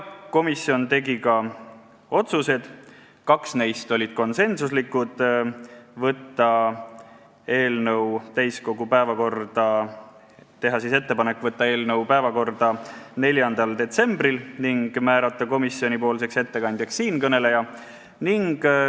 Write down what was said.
Komisjon tegi ka otsused, kaks neist olid konsensuslikud: otsustati teha ettepanek saata eelnõu täiskogu päevakorda 4. detsembriks ning määrata komisjoni ettekandjaks siinkõneleja.